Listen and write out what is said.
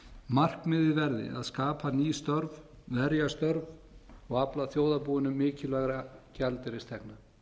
verði að skapa ný störf verja störf og afla þjóðarbúinu mikilvægra gjaldeyristekna